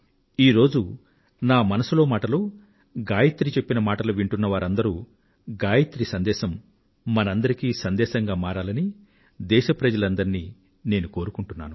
ఈ రోజు మనసులో మాటలో గాయత్రి చెప్పిన మాటలు వింటున్న వారందరూ గాయత్రి సందేశం మనందరికీ సందేశంగా మారాలని దేశ ప్రజలందరినీ నేను కోరుకుంటున్నాను